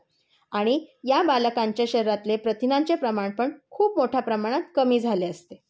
आणि या बालकांच्या शरीरातले प्रथिनांचे प्रमाण पण खूप मोठ्या प्रमाणात कमी झालेले असते.